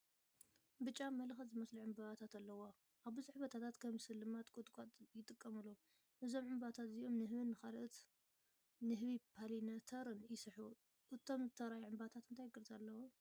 ብጫ መለኸት ዝመስል ዕምባባታት ኣለዎ። ኣብ ብዙሕ ቦታታት ከም ስልማት ቁጥቋጥ ይጥቀሙሉ። እዞም ዕምባባታት እዚኣቶም ንህቢን ንኻልኦት ንህቢ ፖሊነተርን ይስሕቡ። እቶም ዝተርኣዩ ዕምባባታት እንታይ ቅርጺ ኣለዎም?